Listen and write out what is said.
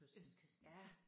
Østkysten